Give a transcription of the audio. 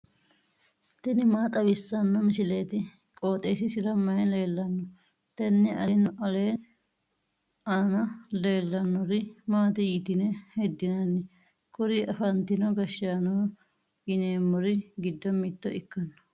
tini maa xawissanno misileeti? qooxeessisera may leellanno? tenne aana leellannori maati yitine heddinanni? kuri afantino gashshaano yineemmori giddo mitto ikkanno.